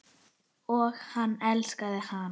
Og hann elskaði hana.